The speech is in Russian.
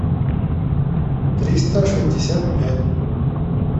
триста шестьдесят пять